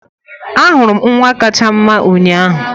Ahụrụ m nwa kacha mma ụnyaahụ